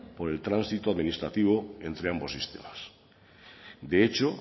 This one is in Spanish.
por el transito administrativo entre ambos sistemas de hecho